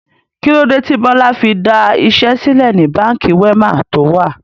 Kilode tí Bọlá fi da iṣẹ́ sílẹ̀ ni Báńkì Wema to wà?